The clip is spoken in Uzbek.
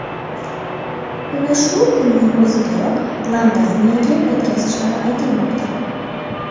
Uni shu kunning o‘zidayoq Iordaniyaga yetkazishlari aytilmoqda.